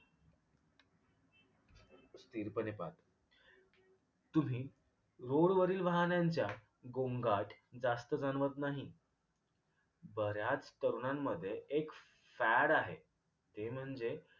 स्थिरपणे पाहता. तुम्ही रोडवरील वाहनांच्या गोंगाट जास्त जाणवत नाही. बऱ्याच तरूणांमध्ये एक fad आहे ते म्हणजे